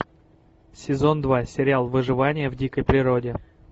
сезон два сериал выживание в дикой природе